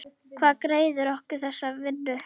Hver greiðir okkur þessa vinnu?